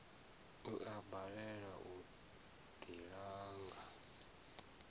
u a balelwa u ḓilanga